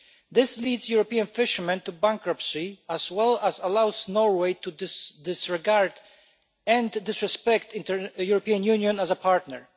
This leads European fishermen to bankruptcy, as well as allowing Norway to disregard and disrespect the European Union as a partner.